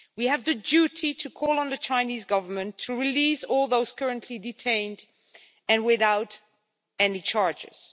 We have the duty to call on the Chinese government to release all those currently detained, and without any charges.